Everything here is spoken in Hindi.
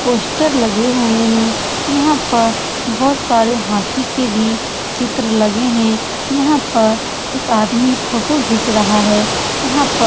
पोस्टर लगे हुए हैं यहाँ पर बहुत सारे हाथी के भी चित्र लगे हैं यहाँ पर एक आदमी फोटो खींच रहा है यहाँ पर --